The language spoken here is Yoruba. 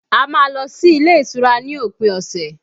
A má lọ sí ilé ìtura ní òpin ọ̀sẹ̀